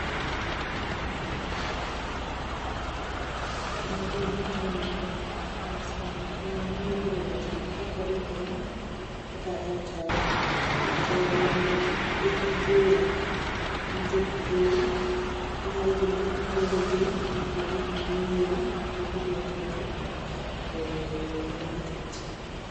Magi jotend customer care. Nyalo bedo jotend Safaricom kata Airtel. To gin gi bura gi jopiny. Ginyalo bedo ni gipuonjogi mag gik manyien ma gidwa kelo e market.